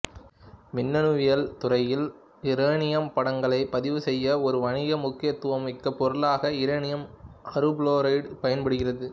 மின்னணுவியல் துறையில் இரேனியம் படங்களை பதிவுசெய்ய ஒரு வணிக முக்கியத்துவம் மிக்க பொருளாக இரேனியம் அறுபுளோரைடு பயன்படுகிறது